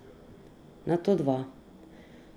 Nato dva.